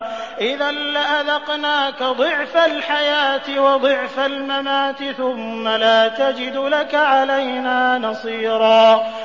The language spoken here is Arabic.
إِذًا لَّأَذَقْنَاكَ ضِعْفَ الْحَيَاةِ وَضِعْفَ الْمَمَاتِ ثُمَّ لَا تَجِدُ لَكَ عَلَيْنَا نَصِيرًا